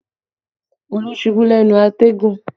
Olú ṣubú lẹ́nu àtẹ̀gùn